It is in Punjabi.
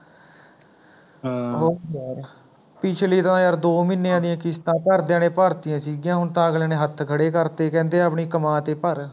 ਹਮਮ ਹੋਰ ਯਾਰ ਪਿਛਲੀ ਤਾਂ ਯਾਰ ਦੋ ਮਹੀਨਿਆ ਦੀਆ ਕਿਸ਼ਤਾਂ ਘਰਦਿਆਂ ਨੇ ਭਰਤੀਆ ਸੀਗੀਆ ਹੁਣ ਤਾਂ ਅਗਲਿਆ ਨੇ ਹੱਥ ਖੜੇ ਕਰਤੇ ਕਹਿੰਦੇ ਆਪਣੀ ਕਮਾਂ ਤੇ ਭਰ